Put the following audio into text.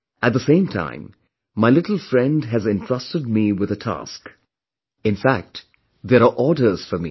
At the same time, my little friend has entrusted me with a task, in fact there are orders for me